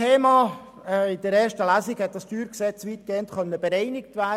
In der ersten Lesung konnte das StG weitgehend bereinigt werden.